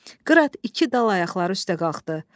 Qırat iki dal ayaqları üstə qalxdı.